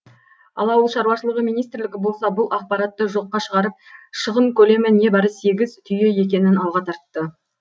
ал ауыл шаруашылығы министрлігі болса бұл ақпаратты жоққа шығарып шығын көлемі небары сегіз түйе екенін алға тартты